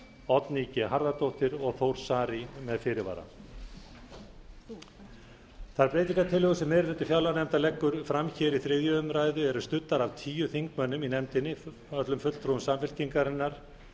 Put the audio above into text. oddný g harðardóttir og þór saari með fyrirvara þær breytingartillögur sem meiri hluti fjárlaganefndar leggur fram hér við þriðju umræðu eru studdar af tíu þingmönnum í nefndinni öllum fulltrúum samfylkingarinnar fulltrúum v